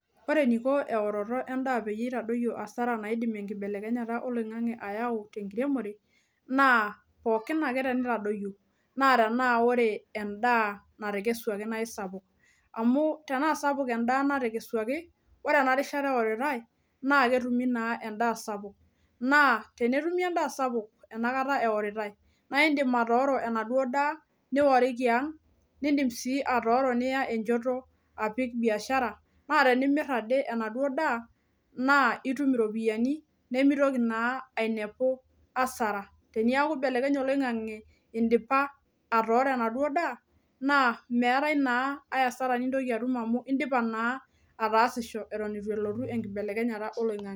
Ore eniko eworoto endaa peyie itadoyio kasarani naidim enkibelekenyata oloingange tenkiremore naa tenaa ore endaa natekeswaki naa isapuk amu tenaasapuk endaa natekeswaki , ore enarishata eoritae naa kisapuk .